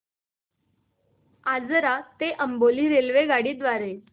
आजरा ते अंबोली रेल्वेगाडी द्वारे